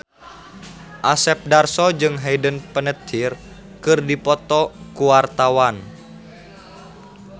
Asep Darso jeung Hayden Panettiere keur dipoto ku wartawan